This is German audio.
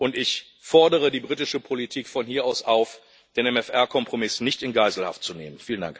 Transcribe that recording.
Und ich fordere die britische Politik von hier aus auf, den im MFR Kompromiss nicht in Geiselhaft zu nehmen.